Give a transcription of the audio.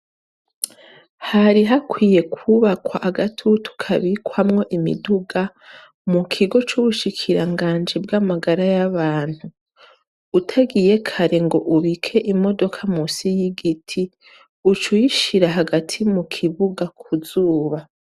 Hari hakwiye kwubakwa agatutu kabikwamwo imiduga mu kigo c'ubushikiranganje bw'amagara y'abantu utagiye kare ngo ubike imodoka musi y'igiti uc uyishira hagati mu kibuga kuzuba.